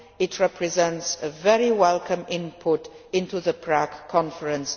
It represents a very welcome input into the Prague conference.